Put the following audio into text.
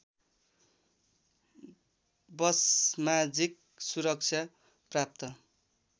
वसमाजिक सुरक्षा प्राप्त